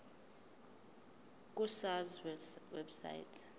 ku sars website